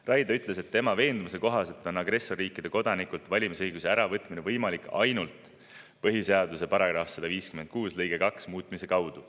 Raidla ütles, et tema veendumuse kohaselt on agressorriikide kodanikelt valimisõiguse äravõtmine võimalik ainult põhiseaduse § 156 lõike 2 muutmise kaudu.